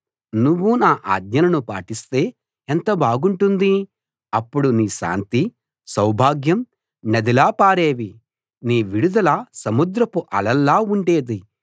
నువ్వు నా ఆజ్ఞలను పాటిస్తే ఎంత బాగుంటుంది అప్పుడు నీ శాంతి సౌభాగ్యం నదిలా పారేవి నీ విడుదల సముద్రపు అలల్లా ఉండేది